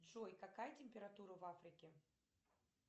джой какая температура в африке